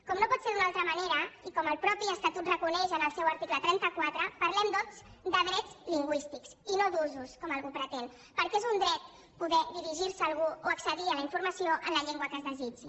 com no pot ser d’una altra manera i com el mateix estatut reconeix en el seu article trenta quatre parlem doncs de drets lingüístics i no d’usos com algú pretén perquè és un dret poder dirigir se a algú o accedir a la informació en la llengua que es desitgi